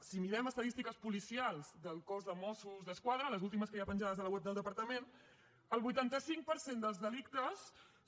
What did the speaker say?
si mirem estadístiques policials del cos de mossos d’esquadra les últimes que hi ha penjades a la web del departament el vuitanta cinc per cent dels delictes